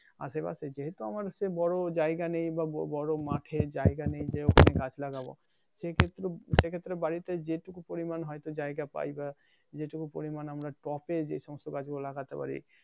আশে পাশে যেহেতু আমার হচ্ছে বড় জায়গা নেই বা বড় মাঠে জায়গা নেই যে ওইখানে গাছ লাগাবো এসে ক্ষেত্র সে ক্ষেত্রে বাড়িতে যেটুকু পরিমান হয়তো জায়গা পাই বা যেটুকু পরিমান আমরা টপে যে সমস্ত গাছ গুলা লাগাতে পারি